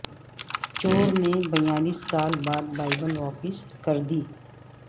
چور نے بیالیس سال بعد بائبل واپس کر دی